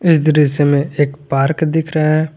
ये दृश्य में एक पार्क दिख रहा है।